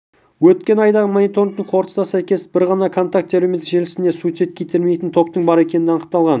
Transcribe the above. өткен айдағы мониторингтің қорытындысына сәйкес бір ғана контакте әлеуметтік желісінде суицидке итермелейтін топтың бар екендігі анықталған